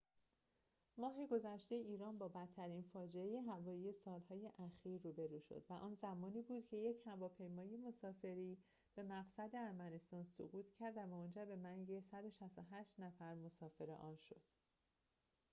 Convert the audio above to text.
ماه گذشته ایران با بدترین فاجعه هوایی سال‌های اخیر روبرو شد و آن زمانی بود که یک هواپیمای مسافری به مقصد ارمنستان سقوط کرد و منجر به مرگ ۱۶۸ نفر مسافر آن شد